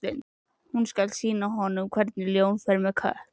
Hún skal sýna honum hvernig ljón fer með kött.